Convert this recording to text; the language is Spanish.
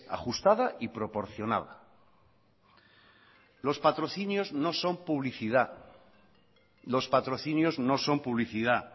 ajustada y proporcionada los patrocinios no son publicidad los patrocinios no son publicidad